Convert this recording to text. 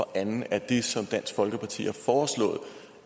andet er det som dansk folkeparti har foreslået